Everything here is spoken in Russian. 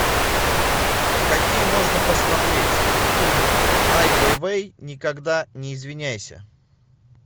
какие можно посмотреть фильм ай вейвей никогда не извиняйся